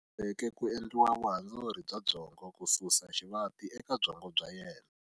U boheke ku endliwa vuhandzuri bya byongo ku susa xivati eka byongo bya yena.